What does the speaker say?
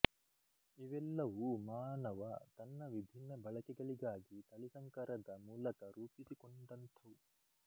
ಇವೆಲ್ಲವೂ ಮಾನವ ತನ್ನ ವಿಭಿನ್ನ ಬಳಕೆಗಳಿಗಾಗಿ ತಳಿಸಂಕರದ ಮೂಲಕ ರೂಪಿಸಿಕೊಂಡಂಥವು